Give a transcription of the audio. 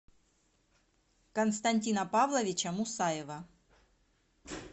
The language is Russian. константина павловича мусаева